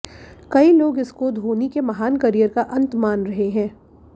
कई लोग इसको धोनी के महान करियर का अंत मान रहे हैं